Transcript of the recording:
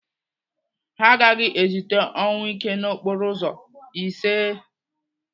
Ha agaghị ezite ọnwụike n'okporo ụzọ, iseee!